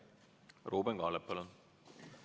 Ruuben Kaalep, palun!